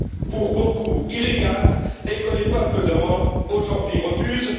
pour beaucoup illégale et que les peuples d'Europe aujourd'hui refusent.